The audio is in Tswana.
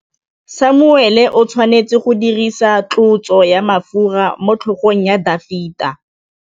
Samuele o tshwanetse go dirisa tlotsô ya mafura motlhôgong ya Dafita.